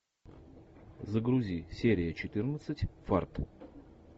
загрузи серия четырнадцать фарт